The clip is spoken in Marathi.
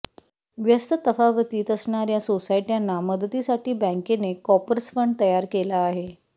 व्यस्त तफावतीत असणार्या सोसायट्यांना मदतीसाठी बँकेने कॉर्पस फंड तयार केला आहे